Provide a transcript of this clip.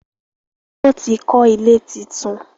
wón tí kò ilé títún.